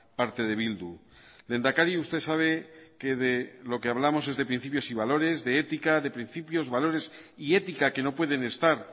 parte de bildu lehendakari usted sabe que de lo que hablamos es de principios y valores de ética de principios valores y ética que no pueden estar